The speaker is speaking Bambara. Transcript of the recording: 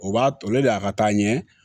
O b'a to ale de y'a ka taa ɲɛ